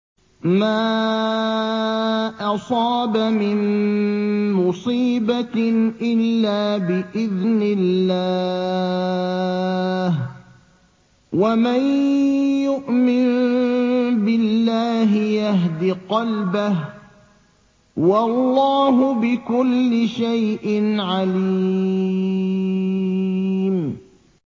مَا أَصَابَ مِن مُّصِيبَةٍ إِلَّا بِإِذْنِ اللَّهِ ۗ وَمَن يُؤْمِن بِاللَّهِ يَهْدِ قَلْبَهُ ۚ وَاللَّهُ بِكُلِّ شَيْءٍ عَلِيمٌ